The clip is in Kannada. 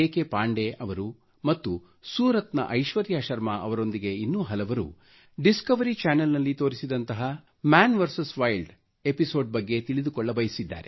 ಪಾಂಡೆ ಅವರು ಮತ್ತು ಸೂರತ್ನ ಐಶ್ವರ್ಯಾ ಶರ್ಮಾ ಅವರೊಂದಿಗೆ ಇನ್ನೂ ಹಲವರು ಡಿಸ್ಕವರಿ ಚ್ಯಾನೆಲ್ ನಲ್ಲಿ ತೋರಿಸಿದಂತಹ ಮನ್ ವಿಎಸ್ ವೈಲ್ಡ್ ಎಪಿಸೋಡ್ ಬಗ್ಗೆ ತಿಳಿದುಕೊಳ್ಳಬಯಸಿದ್ದಾರೆ